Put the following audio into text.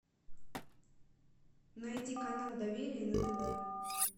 найди канал доверие на тв